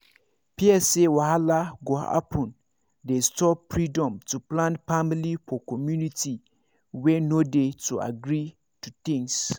fear say wahala go happen dey stop freedom to plan family for community wey no dey to agree to things